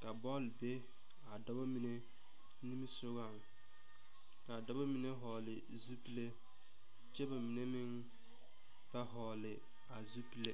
Ka bole be a dɔbɔ mene nimisɔgoŋ. Ka a dɔbɔ mene vogle zupule kyɛ ba mene meŋ ba vogle a zupule